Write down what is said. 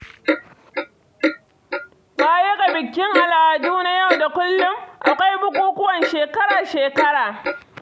Baya ga bikin al'adu na yau da kullum, akwai bukukuwan shekara-shekara.